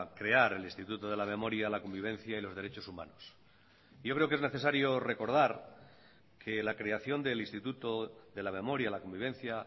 crear el instituto de la memoria la convivencia y los derechos humanos yo creo que es necesario recordar que la creación del instituto de la memoria la convivencia